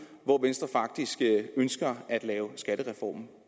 hvor venstre faktisk ønsker at lave skattereformen